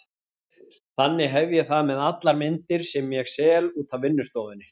Þannig hef ég það með allar myndir sem ég sel út af vinnustofunni.